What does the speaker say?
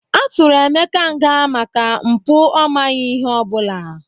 A tụrụ emeka nga maka mpụ ọ maghị ihe ọ bụla